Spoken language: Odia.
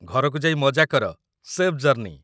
ଘରକୁ ଯାଇ ମଜା କର, ସେଫ୍ ଜର୍ଣ୍ଣି ।